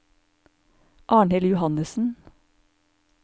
Arnhild Johannesen